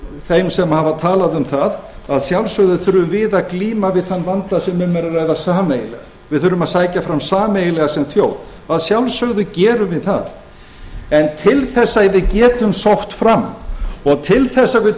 þeim sem hafa talað um það að sjálfsögðu þurfum við að glíma við þann vanda sem um er að ræða sameiginlega við þurfum að sækja fram sameiginlega sem þjóð að sjálfsögðu gerum við það en til þess að við getum sótt fram og til þess að við